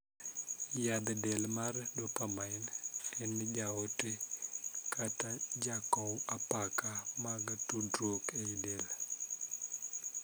Yadh del mar 'dopamine' en jaote, kata jakow apaka mag tudruok ei del.